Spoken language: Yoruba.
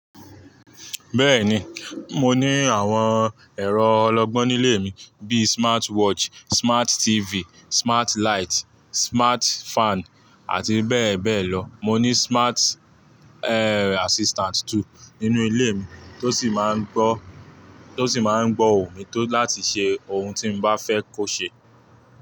Bẹ́ẹ̀ni, mo ní àwọn ẹ̀rọ ọlọgbọ́n nílé mi, bíi smart watch, smart TV, smart light, smart fan, àti bẹ́ẹ̀ bẹ́ẹ̀ lọ. Mọ ní smart, e, assistant too nínú ilé mi tó sì máa ń gbọ́, tó sì máa ń gbọ́ òun mi tó láti ṣe ohun tí mo bá fẹ́ kó ṣe.